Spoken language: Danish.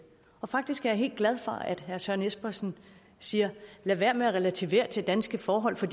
faktisk er jeg helt glad for at herre søren espersen siger lad være med at relativere til danske forhold for